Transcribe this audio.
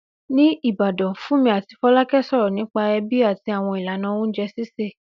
Ní Ìbàdàn, Fúnmi àti Fọlákẹ́ sọ̀rọ̀ nípa ẹbí àti àwọn ìlànà oúnjẹ sísè.